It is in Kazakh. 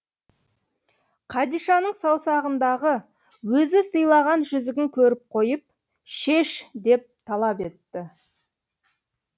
қадишаның саусағындағы өзі сыйлаған жүзігін көріп қойып шеш деп талап етті